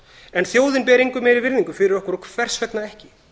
en þjóðin ber engu meiri virðingu fyrir okkur hvers vegna ekki